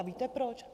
A víte proč?